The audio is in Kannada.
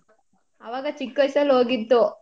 ಅವಾಗ ಚಿಕ್ವಾಯ್ಸಲ್ ಹೋಗಿದ್ದು.